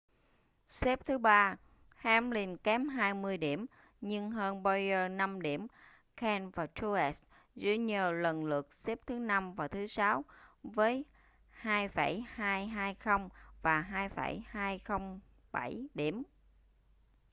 xếp thứ ba hamlin kém hai mươi điểm nhưng hơn bowyer năm điểm kahne và truex jr lần lượt xếp thứ năm và sáu với 2.220 và 2.207 điểm